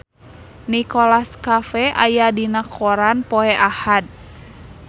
Nicholas Cafe aya dina koran poe Ahad